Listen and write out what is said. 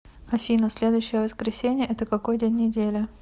афина следующее воскресение это какой день недели